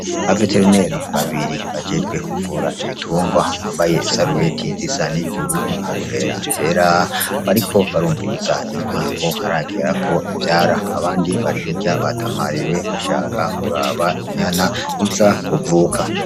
Aba veterineri babiri bajejwe kuvura ibitungwa bambaye isarubeti zisa n'ijuru n'inkofera zera bariko barumviiza inka ko haragera ko ivyara, abandi barihirya batamariwe bashaka kuraba inyana iza kuvuka.